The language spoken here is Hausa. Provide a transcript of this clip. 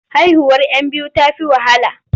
Haihuwar 'yan biyu ta fi wahala.